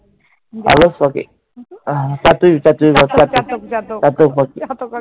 আলস পাখি। চাতক চাতক চাতক পাখি